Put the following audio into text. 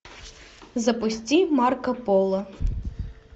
запусти марко поло